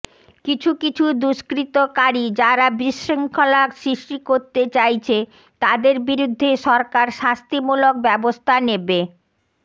কিছু কিছু দুষ্কৃতকারী যারা বিশৃঙ্খলা সৃষ্টি করতে চাইছে তাদের বিরুদ্ধে সরকার শাস্তিমূলক ব্যবস্থা নেবে